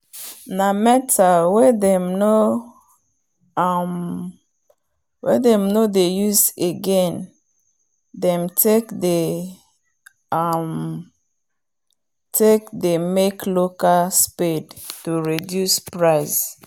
na metal wen them nor um dey use again them take they um make local soade to reduce price